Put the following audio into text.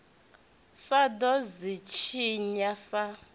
sa ḓo ḽi tshinya sa